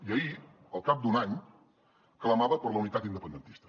i ahir al cap d’un any clamava per la unitat independentista